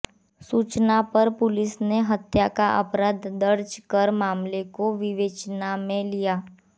सूचना पर पुलिस ने हत्या का अपराध दर्ज कर मामले को विवेचना में लिया